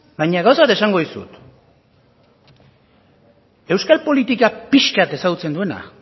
baina gauza bat esango dizut euskal politika pixka bat ezagutzen duena